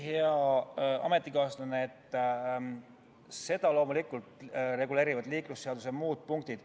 Ei, hea ametikaaslane, seda reguleerivad loomulikult liiklusseaduse muud punktid.